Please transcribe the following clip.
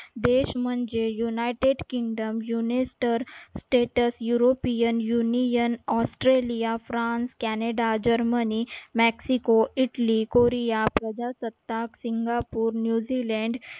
देश म्हणजे united kingdom yunisterstatus european union, australia, france, canada, germany, maxico, italy, korea प्रजासत्ताक singapore, newzealand